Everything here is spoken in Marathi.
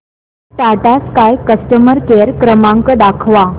टाटा स्काय कस्टमर केअर क्रमांक दाखवा